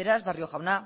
beraz barrio jauna